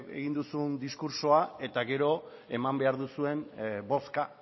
egin duzun diskurtsoa eta gero eman behar duzuen bozka